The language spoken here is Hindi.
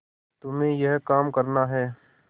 तुम्हें यह काम करना है